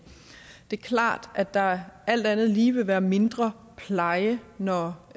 det er klart at der alt andet lige vil være mindre pleje når